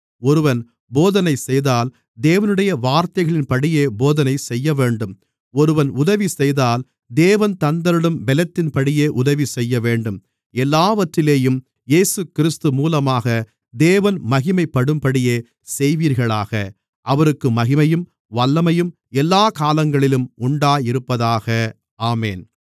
ஒருவன் போதனை செய்தால் தேவனுடைய வார்த்தைகளின்படியே போதனை செய்யவேண்டும் ஒருவன் உதவிசெய்தால் தேவன் தந்தருளும் பெலத்தின்படியே உதவிசெய்யவேண்டும் எல்லாவற்றிலேயும் இயேசுகிறிஸ்து மூலமாக தேவன் மகிமைப்படும்படியே செய்வீர்களாக அவருக்கே மகிமையும் வல்லமையும் எல்லாக் காலங்களிலும் உண்டாயிருப்பதாக ஆமென்